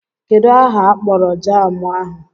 Kedụ aha akpọrọ jaamụ ahụ?